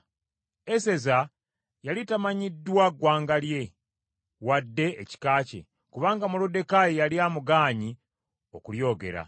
Eseza yali tamanyiddwa ggwanga lye, wadde ekika kye, kubanga Moluddekaayi yali amugaanye okulyogera.